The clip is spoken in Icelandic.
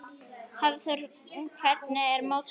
Hafþór: Hvernig er mótið?